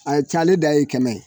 A ye cayalen dan ye kɛmɛ ye